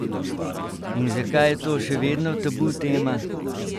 In zakaj je to še vedno tabutema?